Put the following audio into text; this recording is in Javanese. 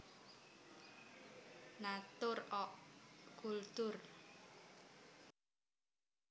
Natur och Kultur